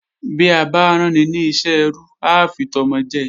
Bí a bá ráni ní iṣẹ́ ẹrú á fi tọmọ jẹ